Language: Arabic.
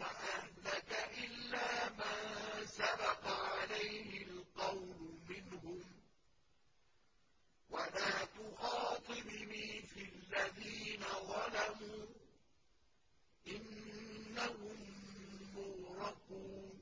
وَأَهْلَكَ إِلَّا مَن سَبَقَ عَلَيْهِ الْقَوْلُ مِنْهُمْ ۖ وَلَا تُخَاطِبْنِي فِي الَّذِينَ ظَلَمُوا ۖ إِنَّهُم مُّغْرَقُونَ